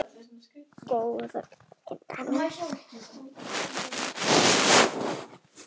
Golf er fyrir alla